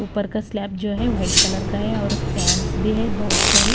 ऊपर का स्लैब जो है वाइट कलर का है और फैंस भी है बहुत सारे ।